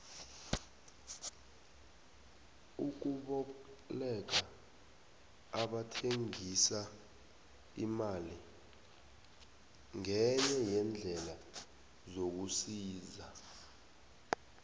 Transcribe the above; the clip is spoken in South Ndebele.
ukuboleka abathengisa imali ngenye yeendlela zokusisa